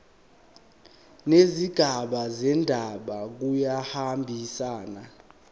nezigaba zendaba kuyahambisana